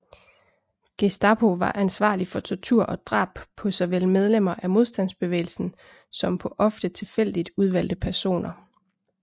Gestapo var ansvarlig for tortur og drab på såvel medlemmer af modstandsbevægelsen som på ofte tilfældigt udvalgte personer